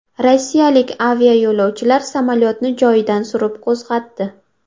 Rossiyalik aviayo‘lovchilar samolyotni joyidan surib qo‘zg‘atdi .